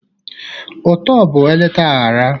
Ụtọ bụ eleta aghara